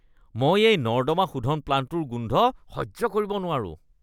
মই এই নৰ্দমা শোধন প্লাণ্টটোৰ গোন্ধ সহ্য কৰিব নোৱাৰো।